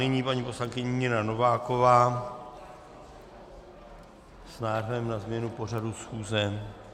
Nyní paní poslankyně Nina Nováková s návrhem na změnu pořadu schůze.